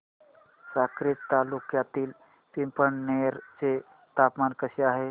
साक्री तालुक्यातील पिंपळनेर चे तापमान कसे आहे